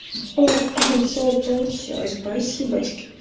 о всё получилось спасибочки